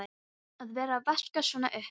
Að vera að vaska svona upp!